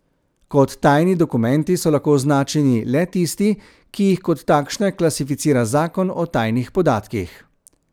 Kot tajni dokumenti so lahko označeni le tisti, ki jih kot takšne klasificira zakon o tajnih podatkih.